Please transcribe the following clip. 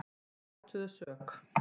Þeir játuðu sök